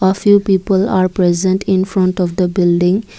a few people are present in front of the building.